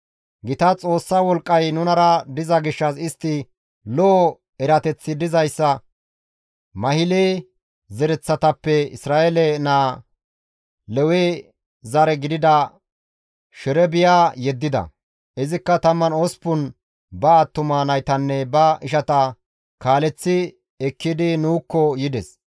Gita Xoossa wolqqay nunara diza gishshas istti lo7o erateththi dizayssa Mahile zereththatappe Isra7eele naa Lewe zare gidida Sherebiya yeddida; izikka 18 ba attuma naytanne ba ishata kaaleththi ekkidi nuukko yides.